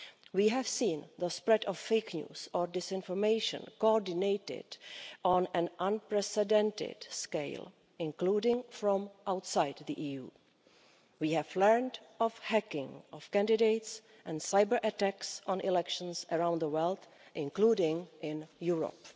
We have seen the spread of fake news or disinformation coordinated on an unprecedented scale, including from outside the EU. We have learnt of hacking of candidates and cyber attacks on elections around the world, including in Europe.